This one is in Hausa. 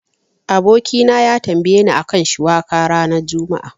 Abokina ya tambayeni a kan shiwaka ranar juma'a.